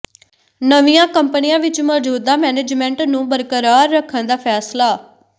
ਨਵੀਆਂ ਕੰਪਨੀਆਂ ਵਿਚ ਮੌਜੂਦਾ ਮੈਨੇਜਮੈਂਟ ਨੂੰ ਬਰਕਰਾਰ ਰੱਖਣ ਦਾ ਫੈਸਲਾ